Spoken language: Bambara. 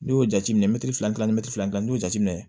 N'i y'o jateminɛ filanan ni mɛtifilanin y'o jateminɛ